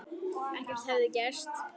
Ekkert hefði gerst.